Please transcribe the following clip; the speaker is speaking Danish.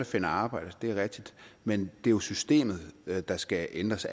finder arbejde det er rigtigt men det er jo systemet der skal ændres